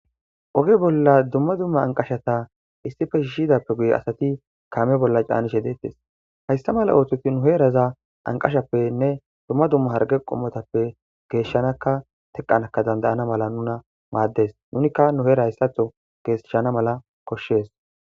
Oge bolla dumma dumma anqashata issife shiishidappe guye asati kaame bolla caanishe deettes haysta mala ooththoti nu heeraza anqashappenne dumma dumma harge qommotappe geeshshanaka teqqanaka dandayana mala nuna maaddes nunikka nu heera hayssatho geesshana mala koshshees